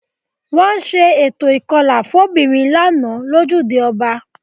Wọ́n ṣe eto ìkọlà fóbìnrin lánàá lójúde ọba